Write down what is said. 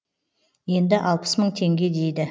енді алпыс мың теңге дейді